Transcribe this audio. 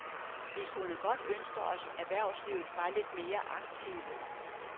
Vi kunne godt ønske os erhvervslivet var lidt mere aktive.